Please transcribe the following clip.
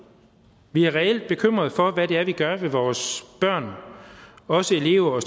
vi er reelt bekymrede for hvad det er vi gør med vores børn og også elever og